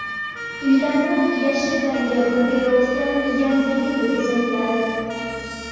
Uylarni yashil rangga burkayotgan Yangi yil bezaklari .